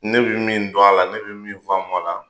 Ne be min don a la ne be min faamu a la